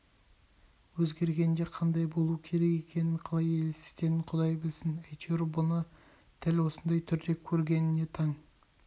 өзгергенде қандай болуы керек екенін қалай елестететінін құдай білсін әйтеуір бұны дәл осындай түрде көргеніне таң